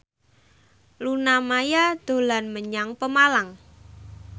Luna Maya dolan menyang Pemalang